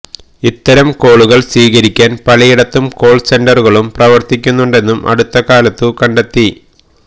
ഇത്തരം കോളുകള് സ്വീകരിക്കാന് പലയിടത്തും കോള് സെന്ററുകളും പ്രവര്ത്തിക്കുന്നുണ്ടെന്നും അടുത്തകാലത്തു കണ്ടെത്തി